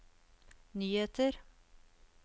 nyheter